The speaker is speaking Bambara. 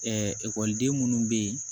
ekɔliden minnu bɛ yen